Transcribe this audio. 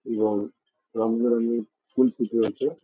এবং রঙ বে রঙের ফুল ফুটে আছে।